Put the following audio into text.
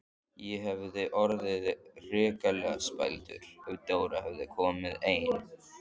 Ég hefði orðið hrikalega spældur ef Dóra hefði komið ein!